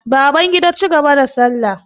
Babangida cigaba da salla.